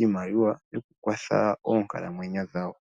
iimaliwa yoku kwatha oonkala mwenyo dhawo.